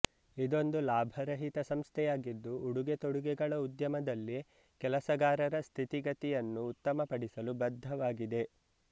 ಇದೊಂದು ಲಾಭರಹಿತ ಸಂಸ್ಥೆಯಾಗಿದ್ದು ಉಡುಗೆತೊಡುಗೆಗಳ ಉದ್ಯಮದಲ್ಲಿ ಕೆಲಸಗಾರರ ಸ್ಥಿತಿಗತಿಯನ್ನು ಉತ್ತಮಪಡಿಸಲು ಬದ್ಧವಾಗಿದೆ